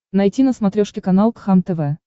найти на смотрешке канал кхлм тв